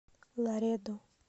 ларедо